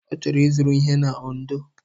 Ọ chọrọ ịzụrụ ihe na Ondo.